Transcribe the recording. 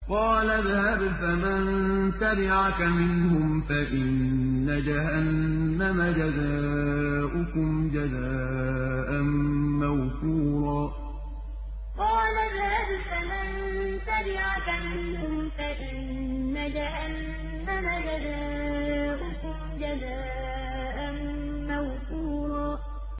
قَالَ اذْهَبْ فَمَن تَبِعَكَ مِنْهُمْ فَإِنَّ جَهَنَّمَ جَزَاؤُكُمْ جَزَاءً مَّوْفُورًا قَالَ اذْهَبْ فَمَن تَبِعَكَ مِنْهُمْ فَإِنَّ جَهَنَّمَ جَزَاؤُكُمْ جَزَاءً مَّوْفُورًا